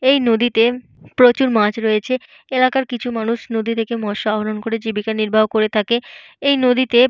এই নদীতে প্রচুর মাছ রয়েছে। এলাকার কিছু মানুষ নদী থেকে মৎস আহরণ করে জীবিকা নির্বাহ করে থাকে। এই নদীতে।